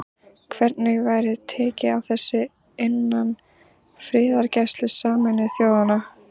Hvernig væri tekið á þessu innan friðargæslu Sameinuðu þjóðanna?